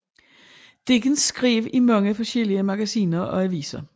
Dickens skrev i mange forskellige magasiner og aviser